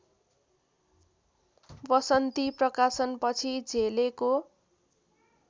वसन्ती प्रकाशनपछि झेलेको